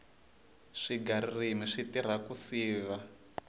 swiga ririmi swi tirha ku siva